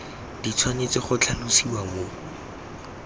di tshwanetse go tlhalosiwa mo